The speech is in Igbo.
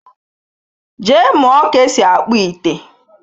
Jee mụọ ka-esi akpụ ite!